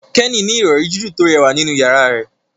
Kenny ní Ìrọ̀rí jiju to rẹwà nínú yàrá rẹ